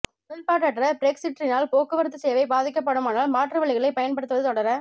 உடன்பாடற்ற பிரெக்சிற்றினால் போக்குவரத்துச் சேவை பாதிக்கப்படுமானால் மாற்று வழிகளை பயன்படுத்துவது தொடர